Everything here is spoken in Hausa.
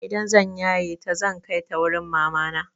Idan zan yaye ta zan kai ta wurin mamana.